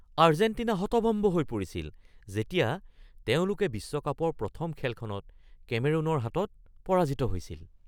Argentina হতভম্ভ হৈ পৰিছিল যেতিয়া তেওঁলোকে বিশ্বকাপৰ প্ৰথম খেলখনত কেমেৰুনৰ হাতত পৰাজিত হৈছিল।